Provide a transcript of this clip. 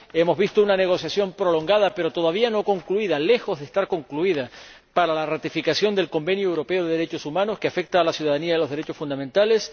hemos visto una negociación prolongada, pero todavía no concluida ―lejos de estar concluida―, para la ratificación del Convenio Europeo de Derechos Humanos, que afecta a la ciudadanía y a los derechos fundamentales